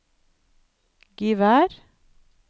Givær